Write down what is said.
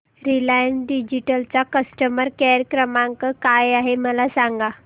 Reliance digital चा customer care क्रमांक काय आहे मला सांगा